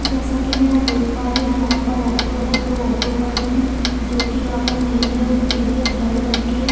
जैसा की मैं यहाँ देख पा रही हूँ यहाँ पर ऑटो है दो ऑटो खड़ी है जो की यहाँ पर नीली और पीली और हरे रंग की है।